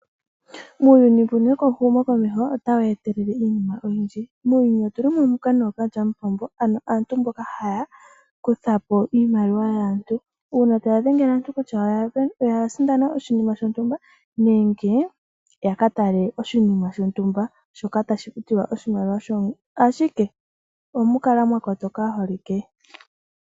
Uuyuni mbuno wehumo komeho otawu etelele iinima oyindji. Muuyuni otulimo muka nookalyamupombo, ano aantu mboka haya kuthapo iimaliwa yaantu, uuna taya dhengele aantu kutya oyasindana oshinima shontumba nenge yakatale oshinima shontumba, shoka tashi futilwa oshimaliwa shontumba, ashike omukala mwakotoka aaholike.